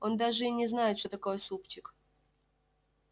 он даже и не знает что такое супчик